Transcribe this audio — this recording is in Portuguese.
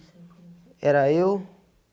(assim com você) Era eu